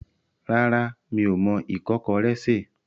Rárá, mi ò mọ ìkọ́kọrẹ́ sè.